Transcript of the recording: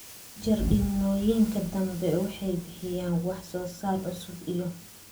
Jardiinooyinka dambe waxay bixiyaan wax soo saar cusub iyo